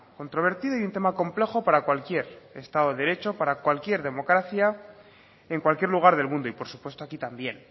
controvertido y un tema complejo para cualquier estado de derecho para cualquier democracia en cualquier lugar del mundo y por supuesto aquí también